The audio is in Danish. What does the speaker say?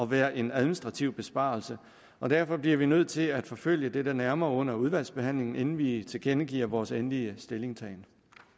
være en administrativ besparelse og derfor bliver vi nødt til at forfølge dette nærmere under udvalgsbehandlingen inden vi tilkendegiver vores endelige stillingtagen